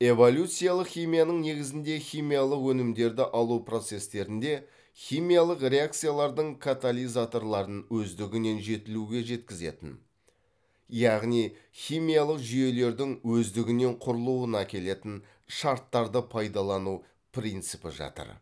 эволюциялық химияның негізінде химиялық өнімдерді алу процестерінде химиялық реакциялардың катализаторларын өздігінен жетілуге жеткізетін яғни химиялық жүйелердің өздігінен құрылуына әкелетін шарттарды пайдалану принципі жатыр